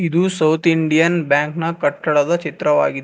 ಇದು South Indian Bank ನ ಕಟ್ಟಡದ ಚಿತ್ರವಾಗಿದೆ.